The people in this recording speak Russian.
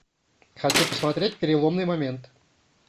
хочу посмотреть переломный момент